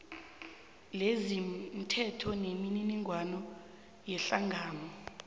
lezomthetho nemininingwana yehlangano